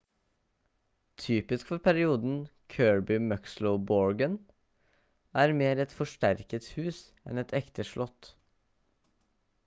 typisk for perioden kirby muxloe borgen er mer et forsterket hus enn et ekte slott